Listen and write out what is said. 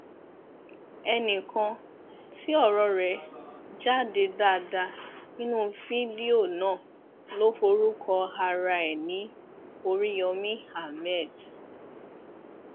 ẹnìkan tí ọrọ rẹ jáde dáadáa nínú fídíò náà ló forúkọ ara ẹ ní oríyomi ahmed